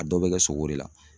A dɔw bɛ kɛ sogo de la.